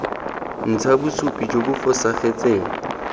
ntsha bosupi jo bo fosagetseng